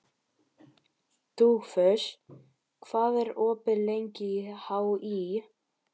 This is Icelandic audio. Dugfús, hvað er opið lengi í HÍ?